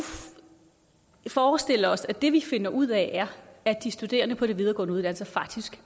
forestille os at det vi finder ud af er at de studerende på de videregående uddannelser faktisk